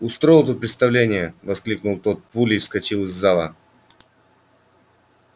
устроил тут представление воскликнул тот и пулей выскочил из зала